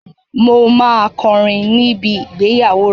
Mo máa kọrin níbi ìgbéyàwó rẹ.